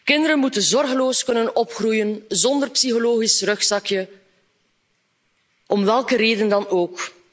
Kinderen moeten zorgeloos kunnen opgroeien, zonder psychisch rugzakje om welke reden dan ook.